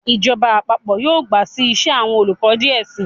Ijọba àpapọ yọọ gba sí ìse, awọn olukọ diẹ sii